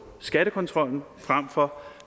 skattekontrollen frem for